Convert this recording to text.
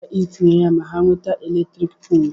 ị ga-enyere ha aka tinye ya ma ha nweta eletrik polu